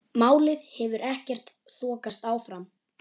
Málið hefur ekkert þokast áfram.